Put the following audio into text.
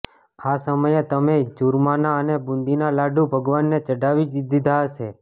આ સમયે તમે ચુરમાના અને બૂંદીના લાડુ ભગવાનને ચઢાવી જ દીધા હશે